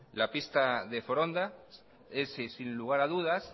la pista de foronda es sin lugar a dudas